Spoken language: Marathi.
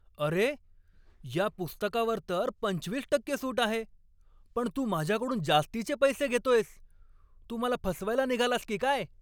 अरे! या पुस्तकावर तर पंचवीस टक्के सूट आहे, पण तू माझ्याकडून जास्तीचे पैसे घेतोयस. तू मला फसवायला निघालास की काय?